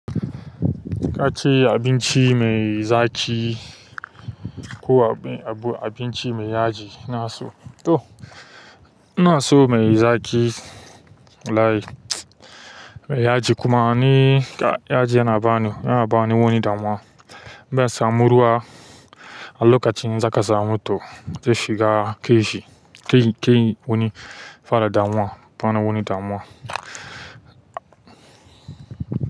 Ka ce abinci mai zaƙi ko abu, abinci mai yaji na so to. Ina so mai zaƙi walahi mai yaji kuma ni yaji yana bani wani damuwa na samu ruwa a lokacin za ka samu to zai shiga keji, keyi wani fara damuwa, bana wani damuwa.